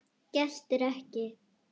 Geltir ekki.